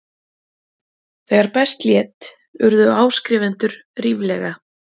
Þegar best lét urðu áskrifendur ríflega